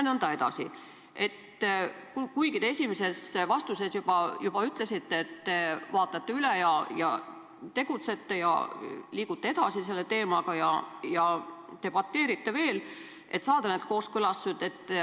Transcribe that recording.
Te esimeses vastuses juba ütlesite, et te vaatate kõik üle, liigute selle teemaga edasi ja debateerite veel, et saada need kooskõlastused.